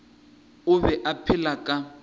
o be a phela ka